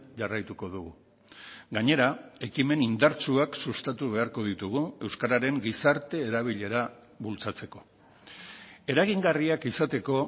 jarraituko dugu gainera ekimen indartsuak sustatu beharko ditugu euskararen gizarte erabilera bultzatzeko eragingarriak izateko